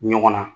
Ɲɔgɔn na